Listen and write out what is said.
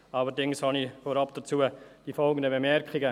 Allerdings habe ich vorab dazu die folgenden Bemerkungen: